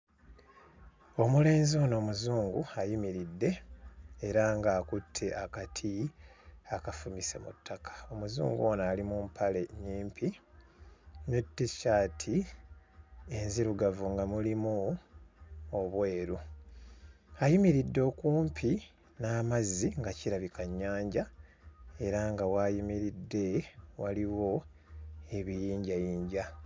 Omulenzi ono muzungu ayimiridde era ng'akutte akati akafumise mu ttaka. Omuzungu ono ali mu mpale nnyimpi ne t-shirt enzirugavu nga mulimu obweru. Ayimiridde okumpi n'amazzi nga kirabika nnyanja era nga w'ayimiridde waliwo ebiyinjayinja.